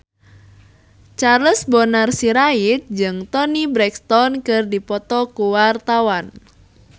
Charles Bonar Sirait jeung Toni Brexton keur dipoto ku wartawan